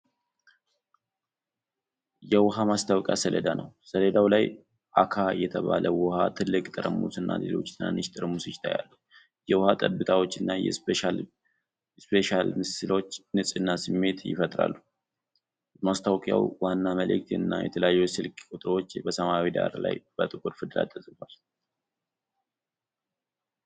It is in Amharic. የውኃ ማስታወቂያ ሰሌዳ ነው። በሰሌዳው ላይ "አካ" የተባለ ውሃ ትልቅ ጠርሙስ እና ሌሎች ትናንሽ ጠርሙሶች ይታያሉ። የውሃ ጠብታዎችና የስፕላሽ ምስሎች የንጽህና ስሜት ይፈጥራሉ። የማስታወቂያው ዋና መልዕክት እና የተለያዩ የስልክ ቁጥሮች በሰማያዊ ዳራ ላይ በጥቁር ፊደላት ተጽፈዋል።